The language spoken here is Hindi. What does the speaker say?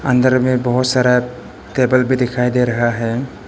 अंदर में बहुत सारा टेबल भी दिखाई दे रहा है।